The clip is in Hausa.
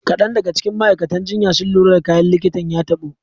Kadan daga cikin ma'aikatan jinya sun lura da kayan likitan ya tabo.